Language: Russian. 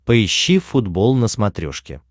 поищи футбол на смотрешке